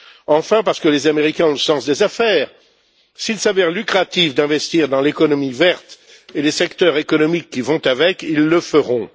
Enfin, parce que les Américains ont le sens des affaires s'il s'avère lucratif d'investir dans l'économie verte et les secteurs économiques qui vont avec, ils le feront.